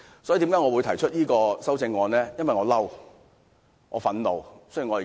所以，我提出此項修正案，是因為我生氣、憤怒。